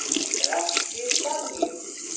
Rætt við Dagnýju.